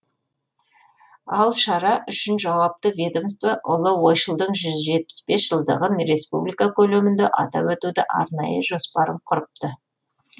ал шара үшін жауапты ведомство ұлы ойшылдың жүз жетпіс бес жылдығын республика көлемінде атап өтудің арнайы жоспарын құрыпты